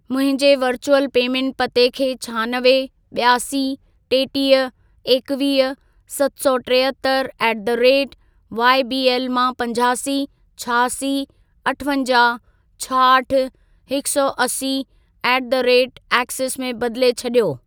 मुंहिंजे virtual payment पते खे छहानवे, ॿियासी, टेटीह, एकवीह, सत सौ टेहतरि ऍट द रेट वाईबीएल मां पंजासी, छहासी, अठवंजाहु, छाहठि, हिकु सौ असी ऍट द रेट एक्सिस में बदिले छॾियो।